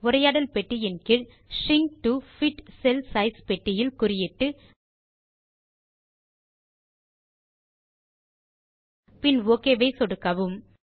உரையாடல் பெட்டியின் கீழ் shrink to fit cell size பெட்டியில் குறியிட்டு பின் ஒக் பட்டன் ஐ சொடுக்கவும்